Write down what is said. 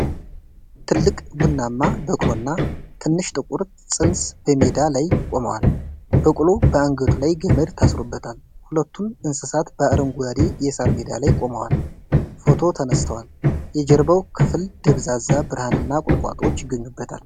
ትልቅ ቡናማ በቅሎ እና ትንሽ ጥቁር ፅንስ በሜዳ ላይ ቆመዋል። በቅሎው በአንገቱ ላይ ገመድ ታስሮበታል። ሁለቱም እንስሳት በአረንጓዴ የሳር ሜዳ ላይ ቆመው ፎቶ ተነስተዋል። የጀርባው ክፍል ደብዛዛ ብርሃንና ቁጥቋጦዎች ይገኙበታል።